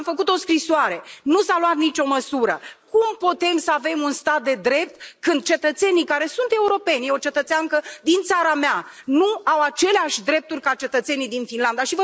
V am făcut o scrisoare, nu s a luat nici o măsură. Cum putem să avem un stat de drept când cetățenii, care sunt europenii, este vorba despre o cetățeană din țara mea, nu au aceleași drepturi ca cetățenii din Finlanda?